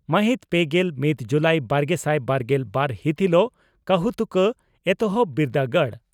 ᱢᱟᱹᱦᱤᱛ ᱯᱮᱜᱮᱞ ᱢᱤᱛ ᱡᱩᱞᱟᱤ ᱵᱟᱨᱜᱮᱥᱟᱭ ᱵᱟᱨᱜᱮᱞ ᱵᱟᱨ ᱦᱤᱛ ᱦᱤᱞᱚᱜ ᱠᱟᱹᱦᱩᱛᱩᱠᱟᱹ ᱮᱛᱚᱦᱚᱵ ᱵᱤᱨᱫᱟᱹᱜᱟᱲ